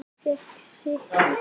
Fékk sitt í gegn.